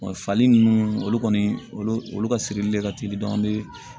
fali nunnu olu kɔni olu olu ka sirili de ka teli an bɛ